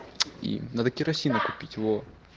и надо керосина купить во